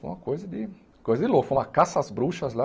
Foi uma coisa de coisa de louco, foi uma caça às bruxas lá.